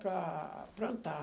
Para plantar.